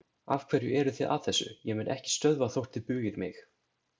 Afhverju eru þið að þessu, ég mun ekki stöðva þótt þið bugið mig!